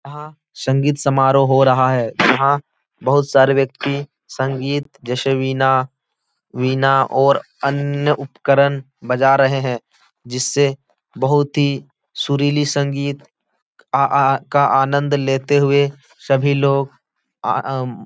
यहाँ संगीत समारोह हो रहा है। यहाँ बहुत सारे व्यक्ति संगीत जैसे वीना वीना और अन्य उपकरन बजा रहे हैं जिससे बहुत ही सुरीली संगीत आ आ का आनंद लेते हुए सभी लोग आ आ अम --